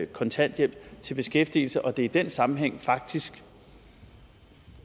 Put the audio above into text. kontanthjælp til beskæftigelse og at det i den sammenhæng faktisk